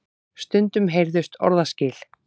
Stundum heyrðust orðaskil.